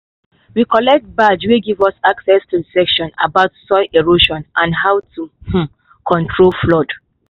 we collect badge wey give us access to session about soil erosion and how to um control flood. um